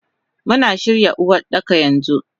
Muna shirya Uwardaka yanxu.